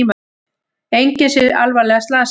Enginn sé alvarlega slasaður